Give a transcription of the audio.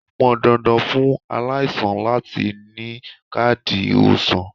Ó pọn dandan fún aláìsàn láti ni káàdì ìwòsàn.